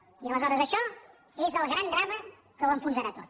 i aleshores això és el gran drama que ho enfonsarà tot